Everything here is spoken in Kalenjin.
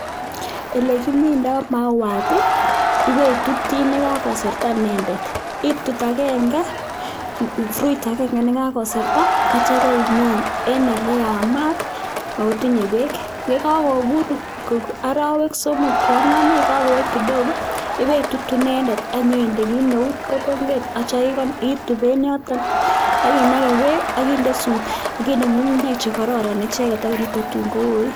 Ole kimindoi mauat ibetuti ne kakoserta nendet itut agenge fruit agenge ne kakoserta atya ibimin eng ye yamat akotinye beek ye kakobur arawek somok to angwan kakoet kidogo ipitutu inendet ak nyainde kit neu kotonget at itub eng yotok ak inake bek ak inde nyukunyek che kororon ichekek akoi tun kouit.